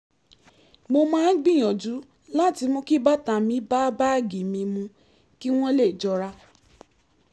mo máa ń gbìyànjú láti mú kí bàtà mi bá báàgì mi mu kí wọ́n lè jọra